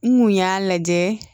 N kun y'a lajɛ